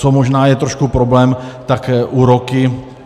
Co možná je trošku problém, tak úroky.